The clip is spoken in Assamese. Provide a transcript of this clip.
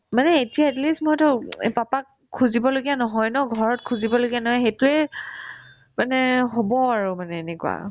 মানে এতিয়া atleast মই এটা উম papa ক খুজিব লগীয়া নহয় ন ঘৰত খুজিব লগীয়া নাই সেইটোয়ে মানে হ'ব আৰু মানে এনেকুৱা